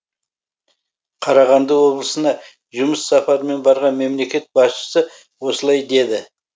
қарағанды облысына жұмыс сапарымен барған мемлекет басшысы осылай деді